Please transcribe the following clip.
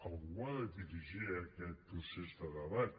algú ha de dirigir aquest procés de debat